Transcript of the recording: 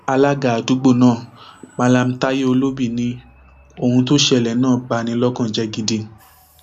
alága àdúgbò náà mallam taiye olóbì ni ohun tó ṣẹlẹ náà bá ní lọkàn jẹ gidi